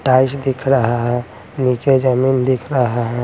Dice दिख रहा है नीचे जमीन दिख रहा है।